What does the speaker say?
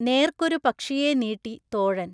നേർക്കൊരു പക്ഷിയെ നീട്ടി തോഴൻ.